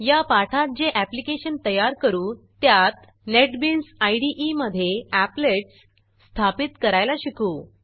या पाठात जे ऍप्लिकेशन तयार करू त्यात नेटबीन्स इदे मधे एप्लेट्स स्थापित करायला शिकू